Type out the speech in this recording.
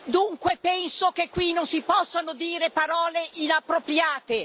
dunque penso che qui non si possano dire parole inappropriate.